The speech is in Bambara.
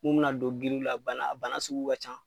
Mun bɛ na don giliw la bana a bana sugu ka can.